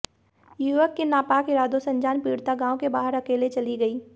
युवक के नापाक इरादों से अनजान पीड़िता गांव के बाहर अकेले चली गयी